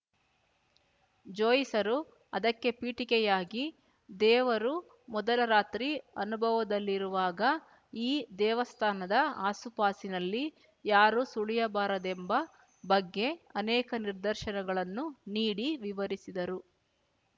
ಜೋಯಿಸರು ಅದಕ್ಕೆ ಪೀಠಿಕೆಯಾಗಿ ದೇವರು ಮೊದಲ ರಾತ್ರಿ ಅನುಭವದಲ್ಲಿರುವಾಗ ಈ ದೇವಸ್ಥಾನದ ಆಸುಪಾಸಿನಲ್ಲಿ ಯಾರೂ ಸುಳಿಯಬಾರದೆಂಬ ಬಗ್ಗೆ ಅನೇಕ ನಿದರ್ಶನಗಳನ್ನು ನೀಡಿ ವಿವರಿಸಿದರು